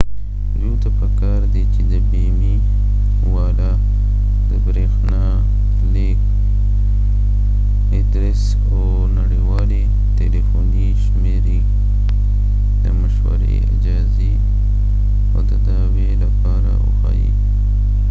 دوي ته په کار دي چې د بیمی والا د برښنالیک ادرس او نړیوالی تلیفونی شمیری د مشوری/اجازی او د دعوي لپاره وښایې